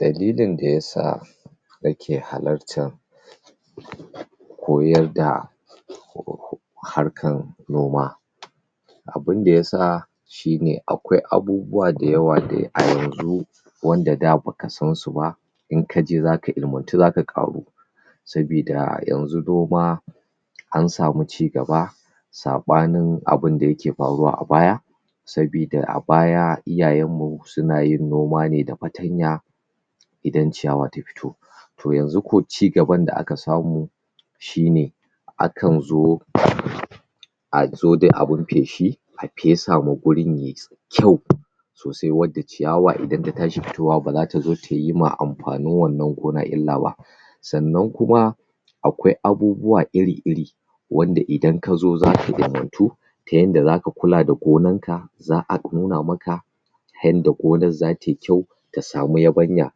Dalilin da ya sa nake halartan koyar da harkan noma abinda ya sa shine akwai abubuwa da yawa da a yanzu wanda da baka san su ba in kaje za ka ilimantu za ka ƙaru sabida yanzu noma an samu cigaba saanin abinda yake faruwa a baya sabida a baya iyayen mu suna yin noma ne da fatanya idan ciyawa ta fito to yanzu ko cigaban da aka samu shine a kan zo a zo da abin feshi a fesa ma wurin yayi kyau sosai wanda ciyawa idan ta tashi fitowa ba zata yi ma amfanin wannan gona illa ba sannan kuma akwai abubuwa iri-iri wanda idan ka zo za ka ilimantu ta yanda za ka kula da gonan ka za a nuna maka yanda gonar za tayi kyau ta samu yabanya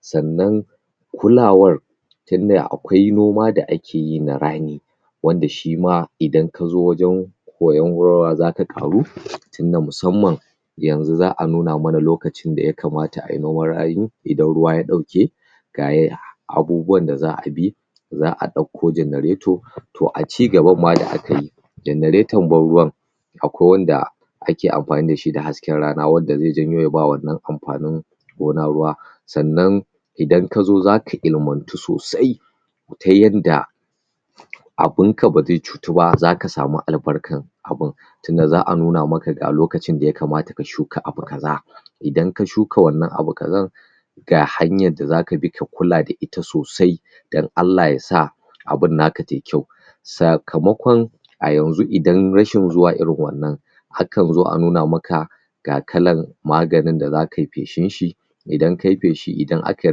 sannan kulawar tunda akwai noma da akeyi na raani wanda shima idan ka zo wajen koyon za ka ƙaru tunda musamman yanzu za a nuna mana lokacin da ya kamata ayi noman raani idan ruwa ya ɗauke gayi abubuwan da za a bi za a ɗauko generator to a cigaban ma da aka yi generaton ban ruwan akwai wanda ake amfani da shi da hasken rana wanda zai janyo ya ba wannan amfanin gona ruwa sannan idan ka zo zaka ilimantu sosai ta yanda abin ka ba zai cutu ba za ka samu albarkan abin tunda za a nuna maka ga lokacin da ya kamata ka shuka abu kaza idan ka shuka wannan abu kazan gahanyar da zaka bi ka kula da ita sosai dan Allah ya sa abin naka tayi kyau sakamakon a yanzu idan rashin zuwa irin wannan akan zo a nuna maka ga irin maganin da zakayi feshin shi idan kayi feshi idan akayi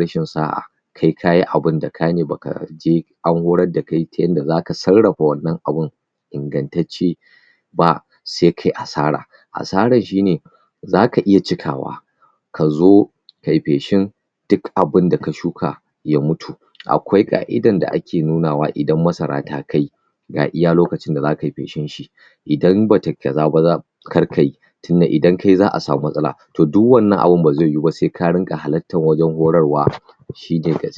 rashin sa'a kai kayi abin da ka ne baka je an horar da kai ta yanda za ka sarrafa wannan abin ingantacce ba sai kayi asara, asarar shi ne za ka iya cikawa ka zo kayi feshin duk abin da ka shuka ya mutu akwai ƙa'idan da ake nuna wa idan masara ta kai ga iya lokacin da zakayi feshin shi idan batayi kaza ba kar kayi tunda idan kayi za a samu matsala to duk wannan abin ba zaiyi ba sai ka dinga halartar horarwa to shine gaskiya.